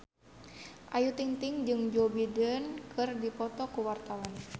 Ayu Ting-ting jeung Joe Biden keur dipoto ku wartawan